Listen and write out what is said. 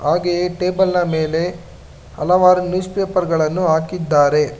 ಹಾಗೆಯೇ ಟೇಬಲ್ ನ ಮೇಲೆ ಹಲವಾರು ನ್ಯೂಸ್ಪೇಪರ್ ಗಳನ್ನು ಹಾಕಿದಾರೆ.